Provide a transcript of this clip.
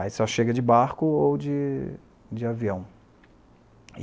Aí só chega de barco ou de de avião.